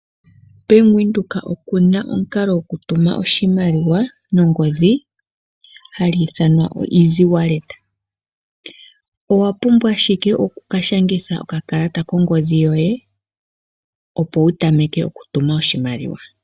Benk winduka okuna omukalo wo ko tuma oshimaliwa no ngodhi hagu ithanwa o iziwaleta. Owa pumbwa ashike oku ka shangitha okakalata kongodhi yoye opo wu tameke oku tuma oshimaliwa.